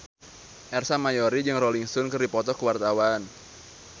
Ersa Mayori jeung Rolling Stone keur dipoto ku wartawan